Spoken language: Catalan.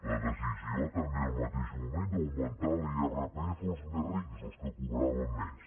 la decisió també en el mateix moment d’augmentar l’irpf als més rics als que cobraven més